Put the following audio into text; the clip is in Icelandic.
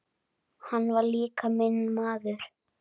Hann var líka minn maður.